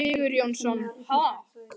Skúli Sigurjónsson: Ha?